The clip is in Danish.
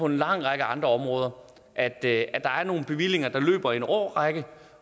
lang række andre områder at der er nogle bevillinger der løber i en årrække